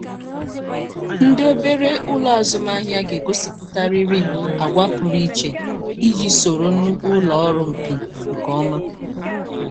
ndị obere ụlọ azụmahịa ga-egosiputarịrị àgwà pụrụ iche iji soro nnukwu ụlọ ọrụ mpi nke ọma.